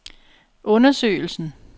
undersøgelsen